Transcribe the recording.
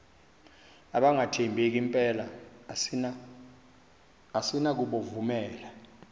abangathembeki mpela asinakubovumela